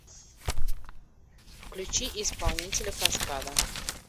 включи исполнителя каскада